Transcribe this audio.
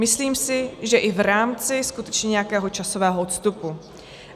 Myslím si, že i v rámci skutečně nějakého časového odstupu.